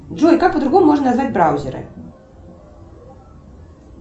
джой как по другому можно назвать браузеры